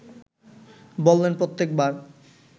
বললেন প্রত্যেক বার